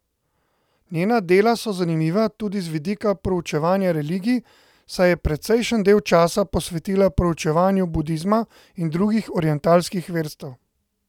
Njena dela so zanimiva tudi z vidika preučevanja religij, saj je precejšen del časa posvetila preučevanju budizma in drugih orientalskih verstev.